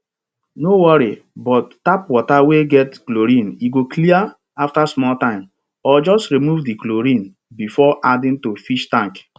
no worry bout tap water wey get chlorine e go clear after small time or just remove di chlorine before adding to fish tank